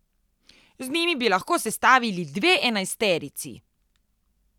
Z njimi bi lahko sestavil dve enajsterici.